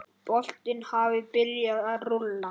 Boltinn hafi byrjað að rúlla.